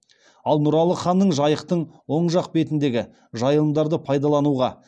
ал нұралы ханның жайықтың оң жақ бетіндегі жайылымдарды пайдалануға